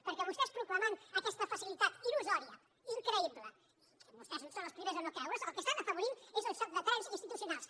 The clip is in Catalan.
perquè vostès proclamant aquesta facilitat il·lusòria increïble que vostès són els primers a no creure’s el que estan afavorint és el xoc de trens institucionals